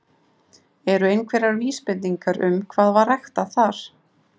Eru einhverjar vísbendingar um hvað var ræktað þar?